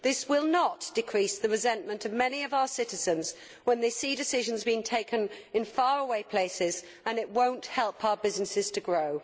This will not decrease the resentment of many of our citizens when they see decisions being taken in faraway places, and it will not help our businesses to grow.